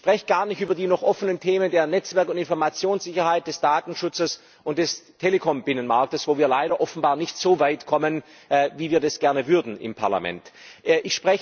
Ich spreche gar nicht über die noch offenen Themen der Netzwerk und Informationssicherheit, des Datenschutzes und des Telekom Binnenmarkts, wo wir leider offenbar nicht so weit kommen, wie wir das im Parlament gerne täten.